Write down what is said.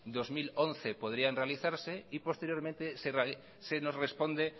dos mil once podrían realizarse y posteriormente se nos responde